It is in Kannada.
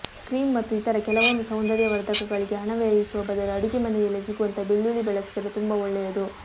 ಕ್ರೀಮ್ ಮತ್ತು ಇತರ ಕೆಲವೊಂದು ಸೌಂದರ್ಯವರ್ಧಕಗಳಿಗೆ ಹಣ ವ್ಯಯಿಸುವ ಬದಲು ಅಡುಗೆ ಮನೆಯಲ್ಲೇ ಸಿಗುವಂತಹ ಬೆಳ್ಳುಳ್ಳಿ ಬಳಸಿದರೆ ತುಂಬಾ ಒಳ್ಳೆಯದು